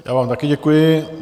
Já vám taky děkuji.